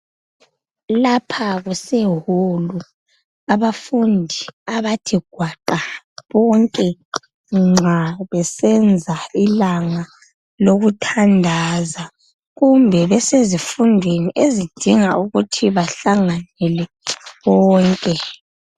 Lapha kuse hall abafundi abathe gwaqa bonke nxa besenza ilanga lokuthandaza kumbe besezifundweni ezidinga ukuthi bahlangane bonke.